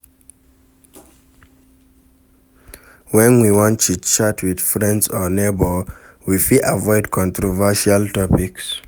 When we wan chit chat with friends or neighbour we fit avoid controversial topics